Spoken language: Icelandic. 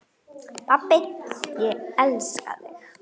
Pabbi, ég elska þig.